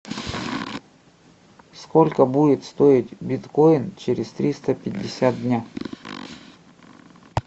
сколько будет стоить биткоин через триста пятьдесят дня